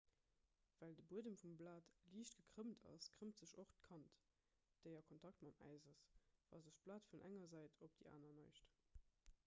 well de buedem vum blat liicht gekrëmmt ass krëmmt sech och d'kant déi a kontakt mam äis ass wa sech d'blat vun enger säit op déi aner neigt